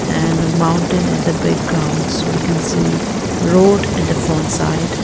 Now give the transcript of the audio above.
and mountain at the backgrounds we can see road at the front side.